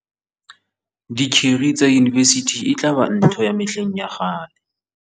Dikeri tsa yunibesithi e tla ba ntho ya mehleng ya kgale.